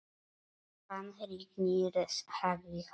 Hann rignir, sagði hann.